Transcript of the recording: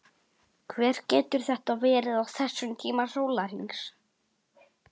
Hver getur þetta verið á þessum tíma sólarhrings?